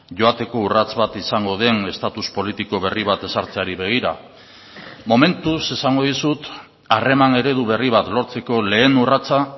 joateko urrats bat izango den estatus politiko berri bat ezartzeari begira momentuz esango dizut harreman eredu berri bat lortzeko lehen urratsa